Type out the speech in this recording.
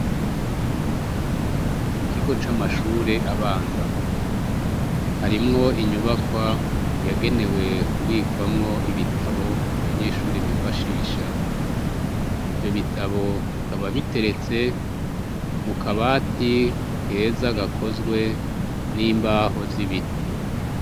mu kigo c'amashure abanza harimwo inyubakwa yagenewe kubikwamwo ibitabo abanyeshure bifashisha ivyo bitabo bikaba biteretse mu kabati keza gakozwe n'imbaho z'ibiti